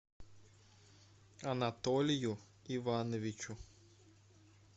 анатолию ивановичу